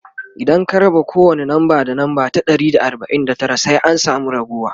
idan ka raba kowani namba da namba ta Dari da arbain da Tara sai an samu raguwa